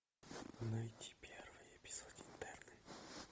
найти первый эпизод интерны